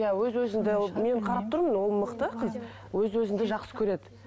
иә өз өзіңді мен қарап тұрмын ол мықты қыз өз өзіңді жақсы көреді